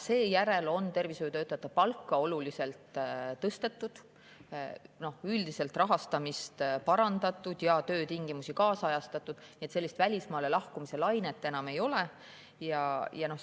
Seejärel on tervishoiutöötajate palka oluliselt tõstetud, on üldiselt rahastamist parandatud ja töötingimusi kaasajastatud, nii et sellist välismaale lahkumise lainet enam ei ole.